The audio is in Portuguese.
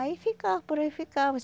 Aí ficava, por aí ficava.